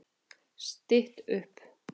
Stytt upp